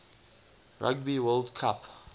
rugby world cup